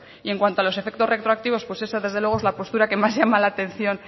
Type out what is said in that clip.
y en cuanto a los efectos retroactivos pues esa desde luego es la postura que más llama la atención